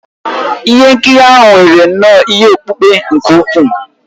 Ihe nkiri ahụ nwere nnọọ ihe okpukpe nke ukwuu